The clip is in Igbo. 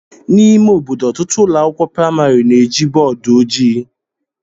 N'ime ime obodo, ọtụtụ ụlọ akwụkwọ praịmarị na-eji bọọdụ ojii.